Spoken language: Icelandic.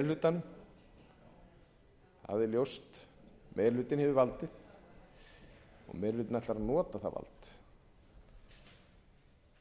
er ljóst meiri hlutinn hefur valdið og meiri hlutinn ætlar að nota það vald